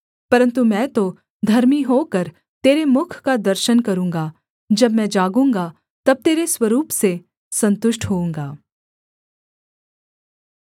परन्तु मैं तो धर्मी होकर तेरे मुख का दर्शन करूँगा जब मैं जागूँगा तब तेरे स्वरूप से सन्तुष्ट होऊँगा